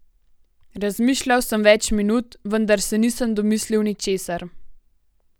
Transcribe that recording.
Razmišljal sem več minut, vendar se nisem domislil ničesar.